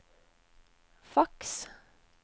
faks